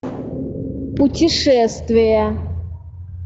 путешествия